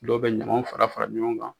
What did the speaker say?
Dɔw bɛ ɲaman fara fara ɲɔgɔn kan